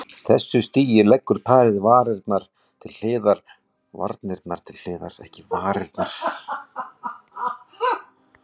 Ég var að vonast til þess að geta unnið úr varanlegra efni en stálinu.